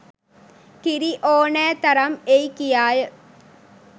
කිරි ඕනෑ තරම් එයි කියාය